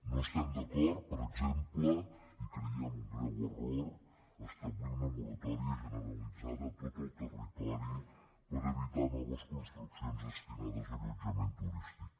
no estem d’acord per exemple i ho creiem un greu error establir una moratòria generalitzada a tot el territori per evitar noves construccions destinades a allotjament turístic